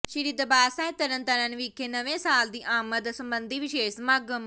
ਸ੍ਰੀ ਦਰਬਾਰ ਸਾਹਿਬ ਤਰਨ ਤਾਰਨ ਵਿਖੇ ਨਵੇਂ ਸਾਲ ਦੀ ਆਮਦ ਸਬੰਧੀ ਵਿਸ਼ੇਸ਼ ਸਮਾਗਮ